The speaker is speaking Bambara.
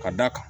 Ka da kan